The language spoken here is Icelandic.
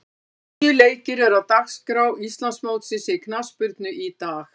Tíu leikir eru á dagskrá Íslandsmótsins í knattspyrnu í dag.